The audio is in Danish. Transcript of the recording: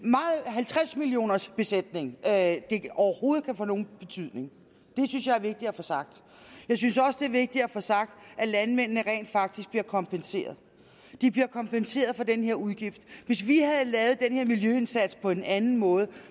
halvtreds millioners besætning at det overhovedet kan få nogen betydning det synes jeg er vigtigt at få sagt jeg synes også det er vigtigt at få sagt at landmændene rent faktisk bliver kompenseret de bliver kompenseret for den her udgift hvis vi havde lavet den her miljøindsats på en anden måde